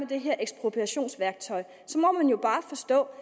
det her ekspropriationsværktøj må man jo bare forstå